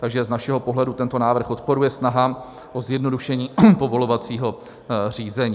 Takže z našeho pohledu tento návrh odporuje snahám o zjednodušení povolovacího řízení.